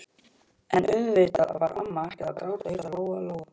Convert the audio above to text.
En auðvitað var amma ekkert að gráta, hugsaði Lóa-Lóa.